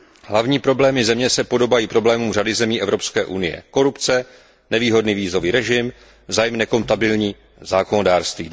Hlavní problémy země se podobají problémům řady zemí Evropské unie korupce, nevýhodný vízový režim, vzájemně nekompatibilní zákonodárství.